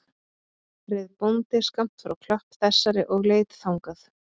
Reið bóndi skammt frá klöpp þessari og leit þangað